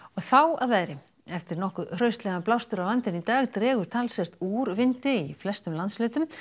þá að veðri eftir nokkuð hraustlegan blástur á landinu í dag dregur talsvert úr vindi í flestum landshlutum